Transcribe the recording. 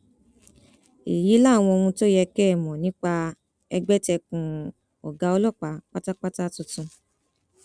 èyí làwọn ohun tó yẹ kẹ ẹ mọ nípa ẹgbẹtẹkùn ọgá ọlọpàá pátápátá tuntun